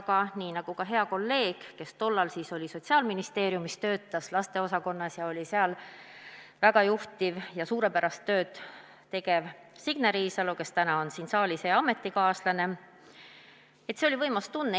Aga nii nagu ka hea kolleeg, kes tollal töötas Sotsiaalministeeriumis laste heaolu osakonnas, oli seal juhtiv töötaja ja tegi suurepärast tööd, Signe Riisalo, kes täna on siin saalis hea ametikaaslane, on öelnud, see oli võimas tunne.